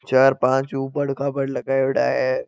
चार पांच उबड़ खाबड़ लगाएड़ा है।